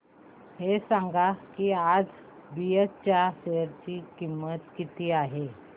हे सांगा की आज बीएसई च्या शेअर ची किंमत किती आहे